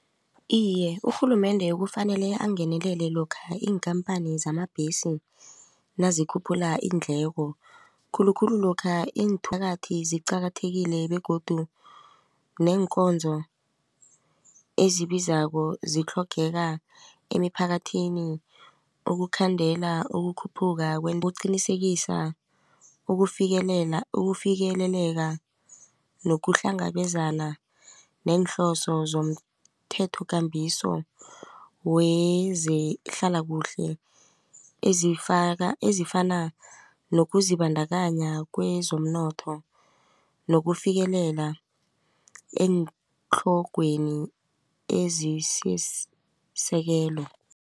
Iye, urhulumende kufanele angenelele lokha iinkhamphani zamabhesi nazikhuphula iindleko khulukhulu lokha iinthakathi ziqakathekile begodu neenkonzo ezibizako zitlhogeka emiphakathini ukukhandela ukukhuphuka ukuqinisekisa ukufikelela ukufikeleleka nokuhlangabezana neenhloso zomthethokambiso wezehlalakuhle ezifaka ezifana nokuzibandakanya kwezomnotho nokufikelela eentlogweni ezisisekelo.